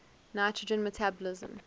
nitrogen metabolism